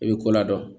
I bɛ ko ladɔn